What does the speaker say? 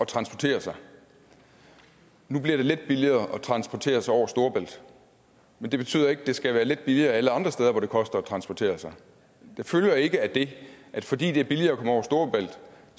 transportere sig nu bliver det lidt billigere at transportere sig over storebælt men det betyder ikke at det skal være lidt billigere alle andre steder hvor det koster noget at transportere sig det følger ikke af det at fordi det er billigere at komme over storebælt